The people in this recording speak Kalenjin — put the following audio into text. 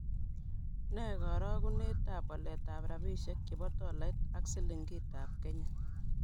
Ne garogunetap waletap rabisyek chebo tolait ak silingiitab kenya